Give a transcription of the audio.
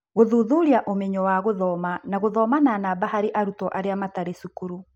Gũthuthuria ũmenyo wa gũthoma na gũthoma na namba harĩ arutwo arĩa matarĩ cukuru.